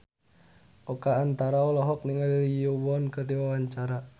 Oka Antara olohok ningali Lee Yo Won keur diwawancara